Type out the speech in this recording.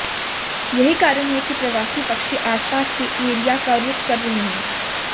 यही कारण है कि प्रवासी पक्षी आसपास के एरिया का रुख कर रहे हैं